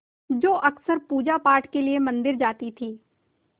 जो अक्सर पूजापाठ के लिए मंदिर जाती थीं